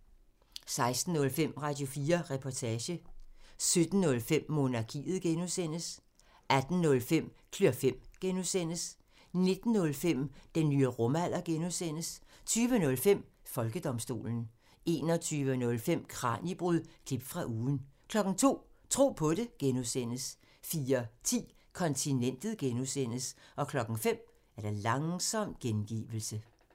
16:05: Radio4 Reportage 17:05: Monarkiet (G) 18:05: Klør fem (G) 19:05: Den nye rumalder (G) 20:05: Folkedomstolen 21:05: Kraniebrud – klip fra ugen 02:00: Tro på det (G) 04:10: Kontinentet (G) 05:00: Langsom gengivelse